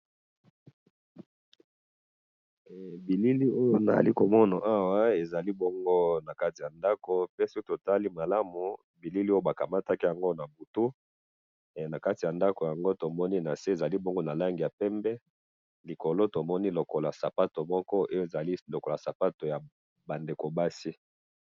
Awa na moni ba logo mine ya ba institution internationales.